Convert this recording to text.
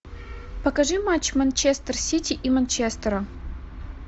покажи матч манчестер сити и манчестера